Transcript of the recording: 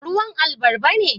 Ruwan albarba ne?